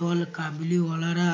দল কাবলি ওয়ালারা